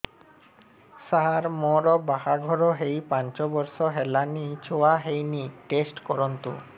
ସାର ମୋର ବାହାଘର ହେଇ ପାଞ୍ଚ ବର୍ଷ ହେଲାନି ଛୁଆ ହେଇନି ଟେଷ୍ଟ କରନ୍ତୁ